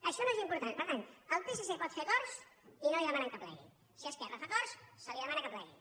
això no és important per tant el psc pot fer acords i no li demanen que plegui si esquerra fa acords se li demana que plegui